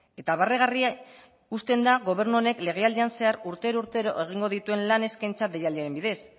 eta barregarri uzten da gobernu honek legealdian zehar urtero urtero egingo dituen lan eskaintza deialdiaren bidez